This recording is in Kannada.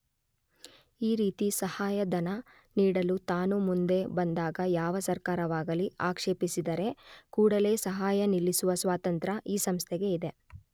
ಈ ರೀತಿ ಸಹಾಯಧನ ನೀಡಲು ತಾನು ಮುಂದೆ ಬಂದಾಗ ಯಾವ ಸರ್ಕಾರವಾಗಲಿ ಆಕ್ಷೇಪಿಸಿದರೆ ಕೂಡಲೆ ಸಹಾಯ ನಿಲ್ಲಿಸುವ ಸ್ವಾತಂತ್ರ್ಯ ಈ ಸಂಸ್ಥೆಗೆ ಇದೆ.